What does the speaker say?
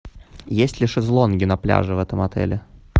есть ли шезлонги на пляже в этом отеле